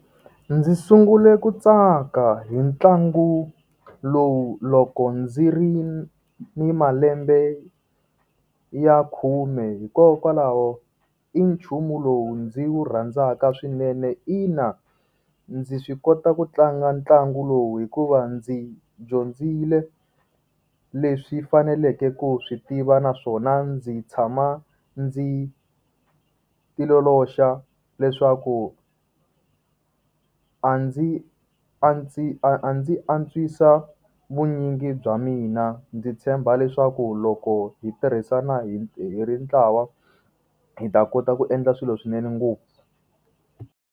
Ndzi sungule ku tsaka hi ntlangu lowu loko ndzi ri ni malembe ya khume hikokwalaho i nchumu lowu ndzi wu rhandzaka swinene. Ina ndzi swi kota ku tlanga ntlangu lowu hikuva ndzi dyondzile leswi faneleke ku swi tiva naswona ndzi tshama ndzi ti ololoxa leswaku a ndzi a ndzi a a ndzi antswisa vunyingi bya mina. Ndzi tshemba leswaku loko hi tirhisana hi hi ri ntlawa hi ta kota ku endla swilo swinene ngopfu.